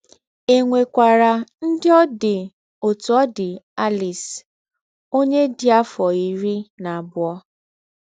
E nwekwara ndị ọ dị otú ọ dị Alice, ọnye dị afọ iri na abụọ.